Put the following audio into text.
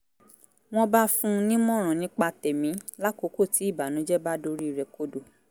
wọ́n bá fún un nímọ̀ràn nípa tẹ̀mí lákòókò tí ìbànújẹ́ bá dorí rẹ̀ kodò